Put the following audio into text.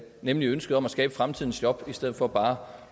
nemlig ønsket om at skabe fremtidens job i stedet for bare